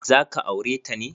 Za ka aure ta ne?